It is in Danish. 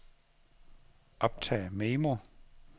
optag memo